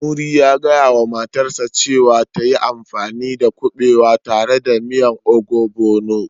Muri ya gaya wa matarsa ​​cewa ta yi amfani dakuɓewa tare da miyan ogbono